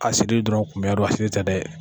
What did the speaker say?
dɔrɔn kun bɛ tɛ dɛ.